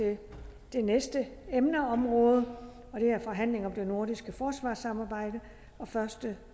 det næste emneområde og det er forhandling om det nordiske forsvarssamarbejde den første